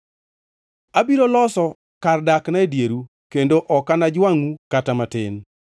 Abiro loso kar dakna e dieru kendo ok anajwangʼu kata matin.